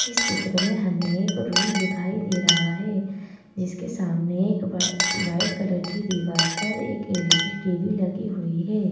इस चित्र में हमें एक रूम दिखाई दे रहा है जिसके सामने एक व वाइट कलर की दीवार पर एक L_ E_ D T_ V लगी हुई है।